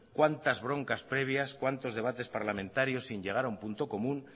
cuántas broncas previas cuántos debates parlamentarios sin llegar a un punto común